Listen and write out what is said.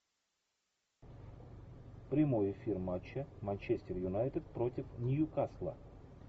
прямой эфир матча манчестер юнайтед против ньюкасла